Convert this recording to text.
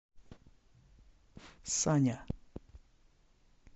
саня